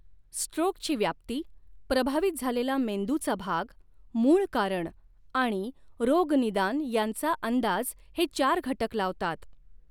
स्ट्रोकची व्याप्ती, प्रभावित झालेला मेंदूचा भाग, मूळ कारण आणि रोगनिदान यांचा अंदाज हे चार घटक लावतात.